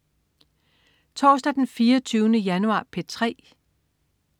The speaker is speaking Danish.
Torsdag den 24. januar - P3: